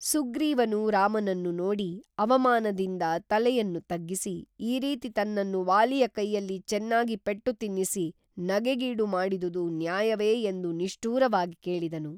ಸುಗ್ರೀವನು ರಾಮನನ್ನು ನೋಡಿ ಅವಮಾನದಿಂದ ತಲೆಯನ್ನು ತಗ್ಗಿಸಿ ಈ ರೀತಿ ತನ್ನನ್ನು ವಾಲಿಯ ಕೈಯಲ್ಲಿ ಚೆನ್ನಾಗಿ ಪೆಟ್ಟು ತಿನ್ನಿಸಿ ನಗೆಗೀಡು ಮಾಡಿದುದು ನ್ಯಾಯವೆ ಎಂದು ನಿಷ್ಠೂರವಾಗಿ ಕೇಳಿದನು